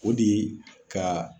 O de ye ka